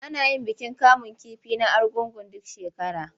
Ana yin bikin kamun kifi na Argungu duk shekara.